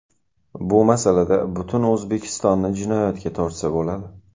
Bu masalada butun O‘zbekistonni jinoyatga tortsa bo‘ladi.